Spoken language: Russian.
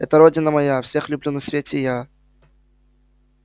это родина моя всех люблю на свете я